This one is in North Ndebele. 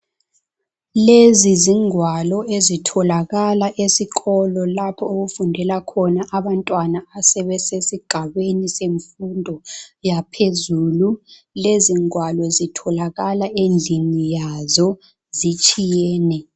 Lezi zingwalo ezitholakala esikolo lapho okufundela khona abantwana asebesigabeni semfundo yaphezulu. Lezi ngwalo zitholakala endlini yazo zitshiyene.